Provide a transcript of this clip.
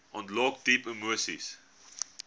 ontlok diep emoseis